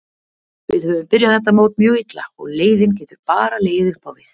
Við höfum byrjað þetta mót mjög illa og leiðinn getur bara legið uppá við.